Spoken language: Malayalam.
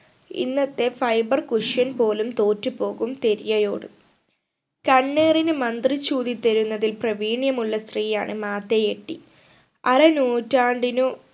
ഇന്നത്തെ fiber cussion പോലും തോറ്റ് പോകും തെരിയയോട് കണ്ണേറിന് മന്ത്രിച്ച് ഊതിത്തരുന്നതിൽ പ്രവീണ്യമുള്ള സ്ത്രീയാണ് മാതയ് എട്ടി അരനൂറ്റാണ്ടിനു